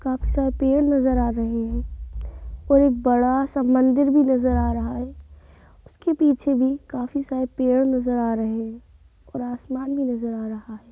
काफी सारे पेड़ नजर आ रहे हैं और एक बड़ा सा मंदिर भी नजर आ रहा है उसके पीछे भी काफी सारे पेड़ नजर आ रहे हैं और आसमान भी नजर आ रहा है।